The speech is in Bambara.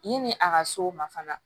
Yanni a ka s'o ma fana